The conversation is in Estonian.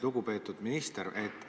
Lugupeetud minister!